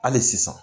Hali sisan